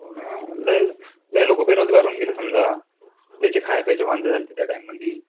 हा लय लोकं बेरोजगार घेऊन गेले समजा. त्याचे खाय-प्यायचे वांधे झालते त्या time मंदि.